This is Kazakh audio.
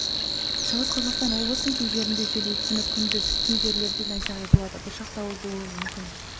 шығыс қазақстан облысының кей жерінде жел екпіні күндіз кей жерлерде найзағай болады бұршақ дауыл болуы мүмкін